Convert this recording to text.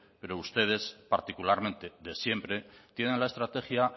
pero ustedes particularmente de siempre tienen la estrategia